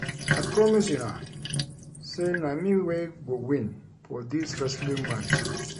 I promise una sey na me wey go win for dis wrestling match